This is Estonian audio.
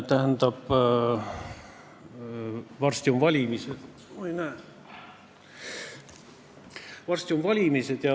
Tähendab, varsti on valimised ja ma soovin sulle siiralt edu.